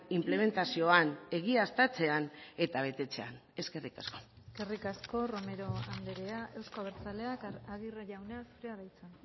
inplementazioan egiaztatzean eta betetzean eskerrik asko eskerrik asko romero andrea euzko abertzaleak aguirre jauna zurea da hitza